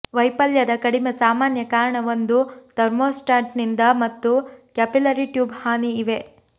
ವೈಫಲ್ಯದ ಕಡಿಮೆ ಸಾಮಾನ್ಯ ಕಾರಣ ಒಂದು ಥರ್ಮೋಸ್ಟಾಟ್ನಿಂದ ಮತ್ತು ಕ್ಯಾಪಿಲರಿ ಟ್ಯೂಬ್ ಹಾನಿ ಇವೆ